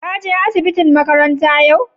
ka je asibitin makaranta ƴau?